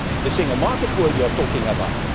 The single market is what you are talking about.